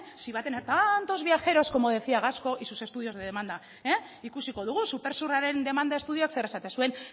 si va a tener tantos viajeros como decía gasco y sus estudios de demanda ikusiko dugu supersurraren demanda estudioak zer esaten zuen